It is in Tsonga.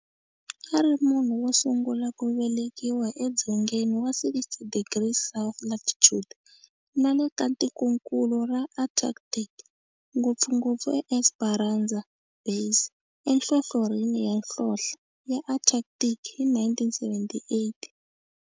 A ri munhu wosungula ku velekiwa e dzongeni wa 60 degrees south latitude nale ka tikonkulu ra Antarctic, ngopfungopfu eEsperanza Base enhlohlorhini ya nhlonhle ya Antarctic hi 1978.